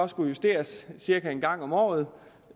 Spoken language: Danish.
skulle justeres cirka en gang om året